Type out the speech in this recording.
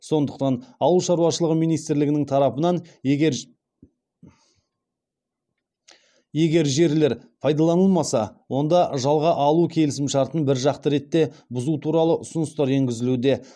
сондықтан ауыл шаруашылығы министрлігінің тарапынан егер жерлер пайдаланылмаса онда жалға алу келісімшартын біржақты ретте бұзу туралы ұсыныстар енгізілуде